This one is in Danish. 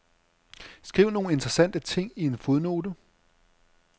Skriv nogle interessante ting i en fodnote.